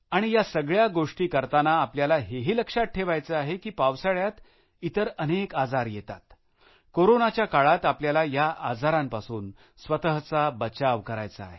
आणि या सगळ्या गोष्टी करताना आपल्याला हे ही लक्षात ठेवायचे आहे की पावसाळ्यात इतर अनेक आजार येतात कोरोनाच्या काळात आपल्याला या आजारांपासून स्वतःचा बचाव करायचा आहे